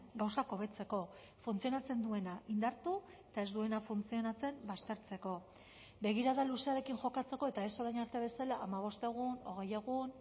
gauzak hobetzeko funtzionatzen duena indartu eta ez duena funtzionatzen baztertzeko begirada luzearekin jokatzeko eta ez orain arte bezala hamabost egun hogei egun